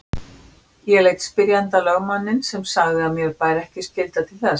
Ég leit spyrjandi á lögmanninn sem sagði að mér bæri ekki skylda til þess.